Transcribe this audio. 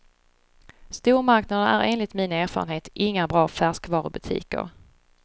Stormarknaderna är enligt min erfarenhet inga bra färskvarubutiker.